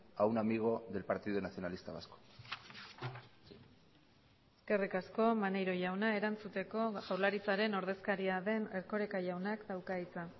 a un amigo del partido nacionalista vasco eskerrik asko maneiro jauna erantzuteko jaurlaritzaren ordezkaria den erkoreka jaunak dauka hitza